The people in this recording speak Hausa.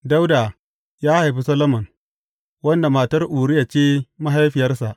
Dawuda ya haifi Solomon, wanda matar Uriya ce mahaifiyarsa.